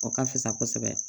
O ka fisa kosɛbɛ